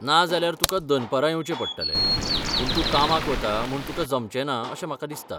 ना जाल्यार तुका दनपरां येवचें पडटलें, पूण तूं कामाक वता म्हूण तुका जमचेंना अशें म्हाका दिसता.